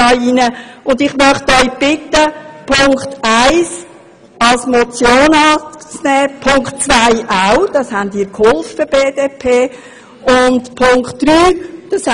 Ich möchte Sie bitten, den Punkt 1 als Motion anzunehmen, und den Punkt 2 auch, dabei haben Sie von der BDP ja schon einmal mitgeholfen.